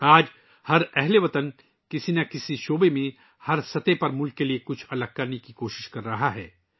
آج ہر ہم وطن کسی نہ کسی میدان میں، ہر سطح پر ملک کے لئے کچھ مختلف کرنے کی کوشش کر رہا ہے